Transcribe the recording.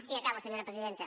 sí acabo senyora presidenta